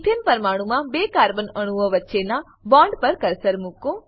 એથને પરમાણુમાં બે કાર્બન અણુઓ વચ્ચેનાં બોન્ડ પર કર્સર મુકો